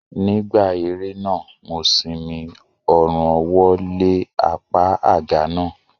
Nígbà eré náà, mo simi ọrùn ọwọ́ lé apá àga náà